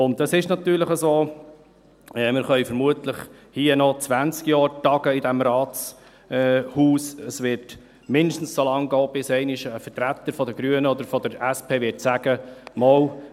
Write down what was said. Und es ist natürlich so: Wir können vermutlich noch 20 Jahre hier in diesem Rathaus tagen – es wird mindestens so lange gehen, bis einmal ein Vertreter der Grünen oder der SP sagen wird: